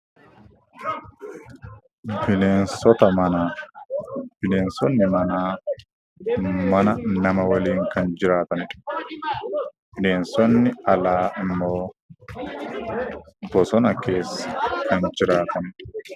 Bineensonni manaa mana nama waliin kan jiraatanii dha. Bineensonni alaa immoo kanneen bosona keessa jiraatanii dha.